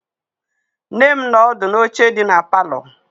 Nne m nọ ọdụ n'oche dị na palọ.